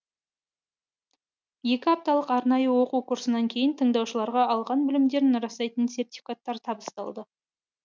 екі апталық арнайы оқу курсынан кейін тыңдаушыларға алған білімдерін растайтын сертификаттар табысталды